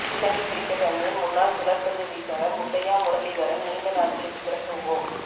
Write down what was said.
இலங்கை cricket அணியின் முன்னாள் சுழற்பந்து வீச்சாளர் முத்தையா முரளிதரன் நீண்ட நாட்களுக்கு பிறகு ஒ